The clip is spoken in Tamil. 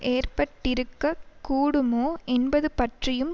ஏற்பட்டிருக்கக் கூடுமோ என்பது பற்றியும்